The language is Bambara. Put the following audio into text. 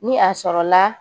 Ni a sɔrɔ la